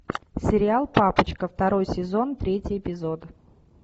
сериал папочка второй сезон третий эпизод